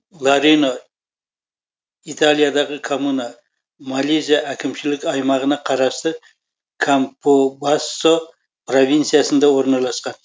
ларино италиядағы коммуна молизе әкімшілік аймағына қарасты кампобассо провинциясында орналасқан